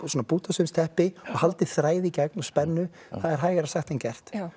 bútasaumsteppi og haldið þræði í gegn og spennu það er hægara sagt en gert